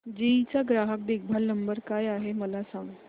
GE चा ग्राहक देखभाल नंबर काय आहे मला सांग